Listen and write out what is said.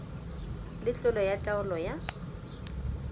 le tlolo ya taolo ya